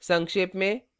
संक्षेप में